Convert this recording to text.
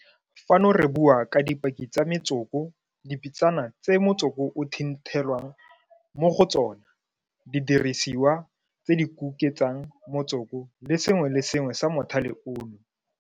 Fano re bua ka dipaki tsa metsoko, dipitsana tse motsoko o thinthelwang mo go tsona, didirisiwa tse di kuketsang motsoko le sengwe le sengwe sa mothale ono.